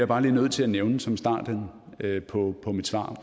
bare lige nødt til at nævne som starten på på mit svar